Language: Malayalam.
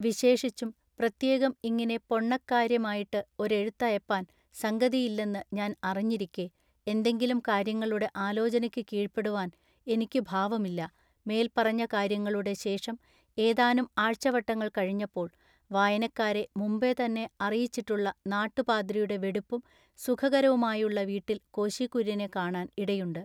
വിശേഷിച്ചും, പ്രത്യേകം ഇങ്ങിനെ പൊണ്ണക്കാര്യമായിട്ട് ഒരെഴുത്തയപ്പാൻ സംഗതിയില്ലെന്നു ഞാൻ അറിഞ്ഞിരിക്കെ എന്തെങ്കിലും“കാര്യങ്ങളുടെ ആലോചനക്കു കീഴ്പെടുവാൻ ഇനിക്കു ഭാവമില്ല മേൽ പറഞ്ഞ കാര്യങ്ങളുടെ ശേഷം ഏതാനും ആഴ്ചവട്ടങ്ങൾ കഴിഞ്ഞപ്പോൾ വായനക്കാരെ മുമ്പെതന്നെ അറിയിച്ചിട്ടുള്ള നാട്ടുപാദ്രിയുടെ വെടിപ്പും സുഖകരവുമായുള്ള വീട്ടിൽ കോശി കുര്യനെ കാണാൻ ഇടയുണ്ട്.